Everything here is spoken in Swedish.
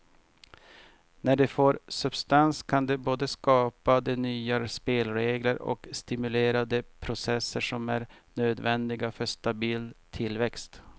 När det får substans kan det både skapa de nya spelregler och stimulera de processer som är nödvändiga för stabil tillväxt.